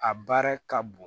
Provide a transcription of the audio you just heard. A baara ka bon